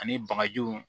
Ani bagajiw